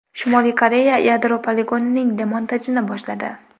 Shimoliy Koreya yadro poligonining demontajini boshladi.